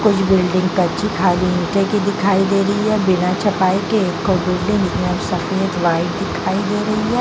उस बिल्डिंग बिना छपाई के एक बिल्डिंग सफ़ेद वाइट दिखाई दे रही है --